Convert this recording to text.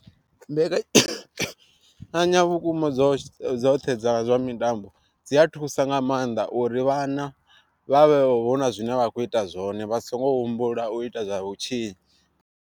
Mbekanya vhukuma dzoṱhe dza zwa mitambo dzi a thusa nga maanḓa uri vhana vha vhe huna zwine vha kho ita zwone vha songo humbula u ita zwa vhutshinyi.